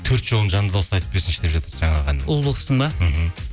төрт жолын жанды дауыспен айтып берсінші деп жатыр жаңағы әннің бұлбұл құстың ба мхм